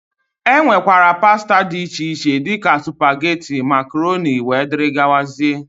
E nwekwara pasta dị iche iche, dịka supageti, makroni wdg.